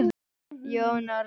Jón Arason bregst ekki sínum.